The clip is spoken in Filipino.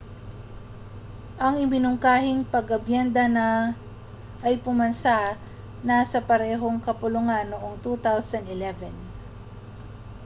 ang iminungkahing pag-amyenda ay pumasa na sa parehong kapulungan noong 2011